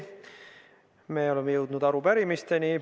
Me oleme jõudnud arupärimisteni.